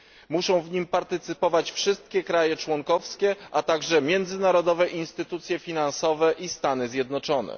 Muszą w nim partycypować wszystkie państwa członkowskie, a także międzynarodowe instytucje finansowe i Stany Zjednoczone.